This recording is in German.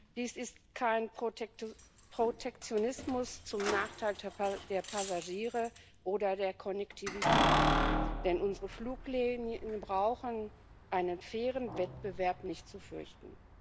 Dies ist kein Protektionismus zum Nachteil der Passagiere oder der Konnektivität, denn unsere Fluglinien brauchen einen fairen Wettbewerb nicht zu fürchten.